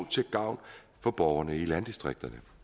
til gavn for borgerne i landdistrikterne